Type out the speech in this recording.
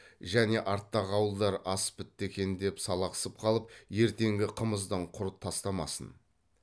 және арттағы ауылдар ас бітті екен деп салақсып қалып ертеңгі қымыздан құр тастамасын